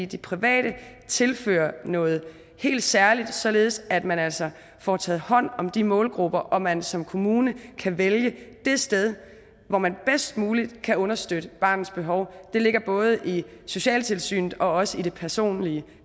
de private tilfører noget helt særligt således at man altså får taget hånd om de målgrupper og man som kommune kan vælge det sted hvor man bedst muligt kan understøtte barnets behov det ligger både i socialtilsynet og også i det personlige